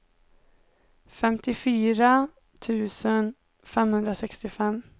femtiofyra tusen femhundrasextiofem